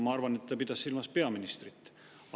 Ma arvan, et ta pidas silmas peaministrit.